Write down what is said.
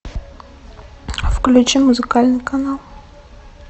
включи музыкальный канал